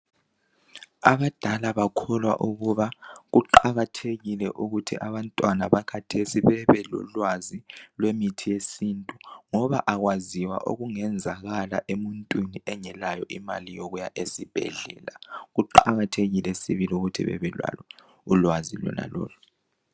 Abadala bakholwa ukuba kuqakathekile ukuthi abantwana bakhathesi bebelolwazi lwemithi yesintu ngoba akwaziwa okungenzakala emuntwini engelayo imali yokuya esibhedlela. Kuqakathekile sibili ukuthi bebelalo ulwazi lonalolo